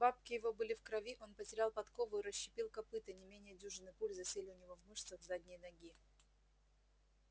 бабки его были в крови он потерял подкову и расщепил копыто не менее дюжины пуль засели у него в мышцах задней ноги